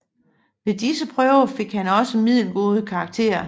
Ved disse prøver fik han også middelgode karakterer